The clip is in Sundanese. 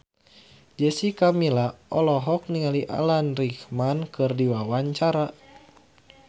Jessica Milla olohok ningali Alan Rickman keur diwawancara